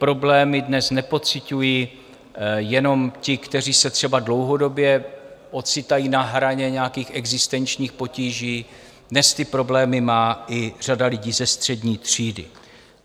Problémy dnes nepociťují jenom ti, kteří se třeba dlouhodobě ocitají na hraně nějakých existenčních potíží, dnes ty problémy má i řada lidí ze střední třídy.